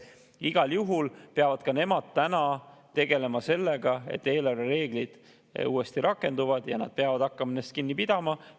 Igal juhul peavad ka nemad täna sellega, et eelarvereeglid uuesti rakenduvad ja nad peavad hakkama nendest kinni pidama.